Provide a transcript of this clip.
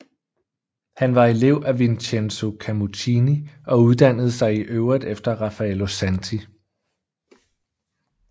Han var elev af Vincenzo Camuccini og uddannede sig i øvrigt efter Raffaello Santi